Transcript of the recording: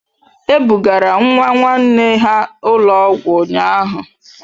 E bugara nwa nwanne ha ụlọ ọgwụ ụnyahụ.